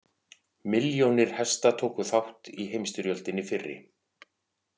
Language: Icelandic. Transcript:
Milljónir hesta tóku þátt í heimsstyrjöldinni fyrri.